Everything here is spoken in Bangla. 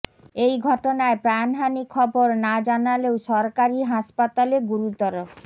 এই ঘটনায় প্রাণহানি খবর না জানালেও সরকারি হাসপাতালে গুরুতর